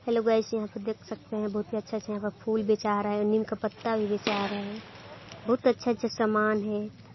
Hello guys यहाँ पे देख सकते है बहुत ही अच्छा अच्छा यहाँ पे फूल बेचा आ रहा है और नीम का पत्ता भी बेचा आ रहा है बहुत अच्छा अच्छा सामान है।